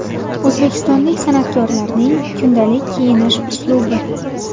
O‘zbekistonlik san’atkorlarning kundalik kiyinish uslubi .